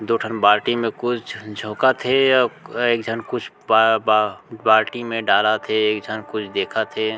दो ठन बाल्टी मे कुछ झन झोकत हे एक जन क कुछ ब बा बाल्टी में डालत हे एक झन कुछ देखत हे।